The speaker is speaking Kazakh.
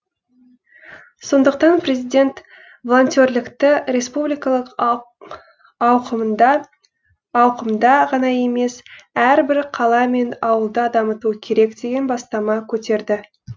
сондықтан президент волонтерлікті республикалық ауқымда ғана емес әрбір қала мен ауылда дамыту керек деген бастама көтерді